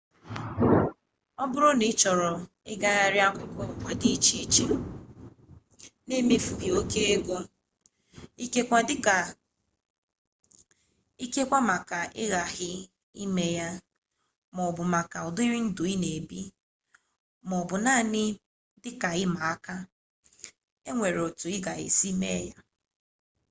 ọ bụrụ na ị chọrọ ịgagharị akụkụ ụwa di iche iche n'emefughi oke ego ikekwe maka ịghaghị ime ya maọbụ maka ụdịrị ndụ i na-ebi maọbụ naanị dịka ịma aka enwere etu a ga-esi eme ya